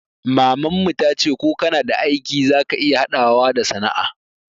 Maman mu ta ce ko kana aiki za ka iya haɗawa da sana'a